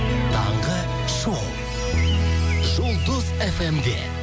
таңғы шоу жұлдыз фм де